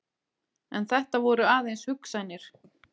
En þetta voru aðeins hugsanir.